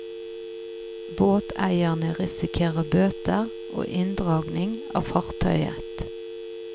Båteierne risikerer bøter og inndragning av fartøyet.